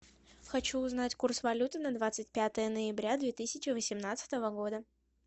хочу узнать курс валюты на двадцать пятое ноября две тысячи восемнадцатого года